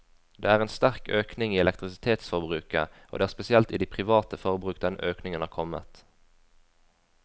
Det er en sterk økning i elektrisitetsforbruket, og det er spesielt i det private forbruk denne økningen har kommet.